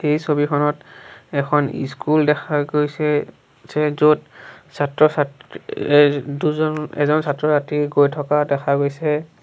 এই ছবিখনত এখন ইস্কুল দেখা গৈছে যে য'ত ছাত্ৰ ছাত য়ে দুজন এজন ছাত্ৰ-ছাত্ৰী গৈ থকা দেখা গৈছে।